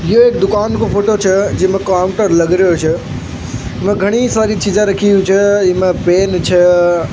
ये एक दुकान को फोटो छे जिन काम पर लागरियो छे इनमे घनी सारी चीज़े रखी हुई छे इनमे पेन छे।